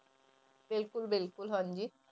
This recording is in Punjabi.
ਬਿਲਕੁਲ ਬਿਲਕੁਲ ਹਾਂਜੀ।